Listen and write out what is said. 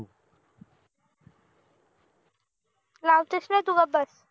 लावतेस न तु गप्प बस